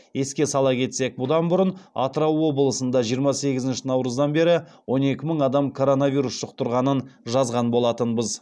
еске сала кетсек бұдан бұрын атырау облысында жиырма сегізінші наурыздан бері он екі мың адам коронавирус жұқтырғанын жазған болатынбыз